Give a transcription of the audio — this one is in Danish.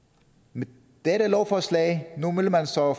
med dette lovforslag vil man så